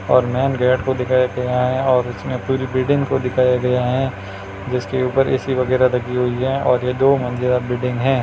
Main gate को दिखाया गया है और उसमे पूरी बिल्डिंग को दिखाया गया है। जिसके ऊपर ऐ_सी वगैरा लगी हुई हैं और ये दो मंजिला बिल्डिंग है।